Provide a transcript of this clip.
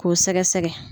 K'o sɛgɛsɛgɛ